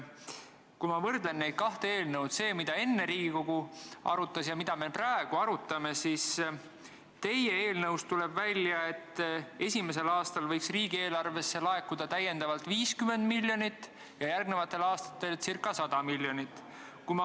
Kui ma võrdlen neid kahte eelnõu – see, mida Riigikogu enne arutas, ja mida me praegu arutame –, siis teie eelnõust tuleb välja, et esimesel aastal võiks riigieelarvesse laekuda täiendavalt 50 miljonit ja järgmistel aastatel ca 100 miljonit.